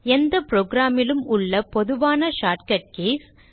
எந்த program லும் உள்ள பொதுவான shortcut கீஸ்